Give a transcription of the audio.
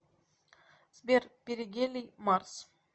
сбер перигелий марс